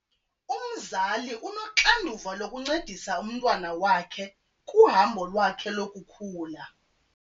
Umzali unoxanduva lokuncedisa umntwana wakhe kuhambo lwakhe lokukhula.